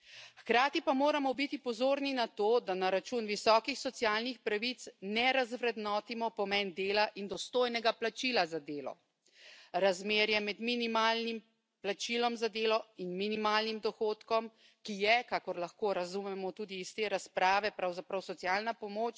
Hkrati pa moramo biti pozorni na to, da na račun visokih socialnih pravic ne razvrednotimo pomen dela in dostojnega plačila za delo, razmerja med minimalnim plačilom za delo in minimalnim dohodkom, ki je, kakor lahko razumemo tudi iz te razprave, pravzaprav socialna pomoč.